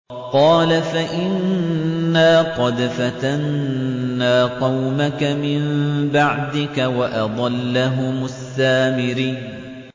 قَالَ فَإِنَّا قَدْ فَتَنَّا قَوْمَكَ مِن بَعْدِكَ وَأَضَلَّهُمُ السَّامِرِيُّ